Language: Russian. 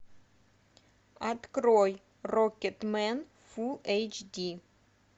открой рокетмен фул эйч ди